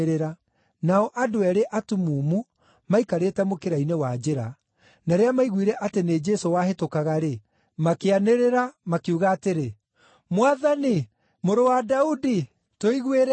Nao andũ eerĩ atumumu maikarĩte mũkĩra-inĩ wa njĩra, na rĩrĩa maiguire atĩ nĩ Jesũ wahĩtũkaga-rĩ, makĩanĩrĩra, makiuga atĩrĩ, “Mwathani, Mũrũ wa Daudi, tũiguĩre tha!”